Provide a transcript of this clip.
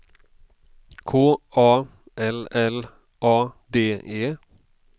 K A L L A D E